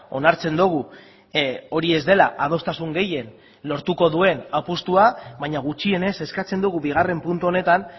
onartzen dugu hori ez dela adostasun gehien lortuko duen apustua baina gutxienez eskatzen dugu bigarren puntu honetan